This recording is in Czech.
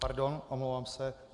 Pardon, omlouvám se.